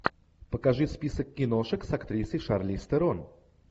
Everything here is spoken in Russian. покажи список киношек с актрисой шарлиз терон